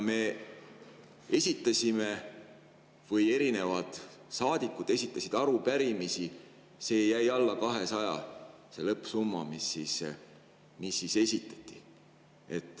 Saadikud esitasid arupärimisi, alla 200 jäi see lõppsumma, kui palju neid esitati.